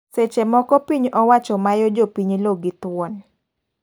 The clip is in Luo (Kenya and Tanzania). Seche moko piny owacho mayo jopiny lo gi thuon.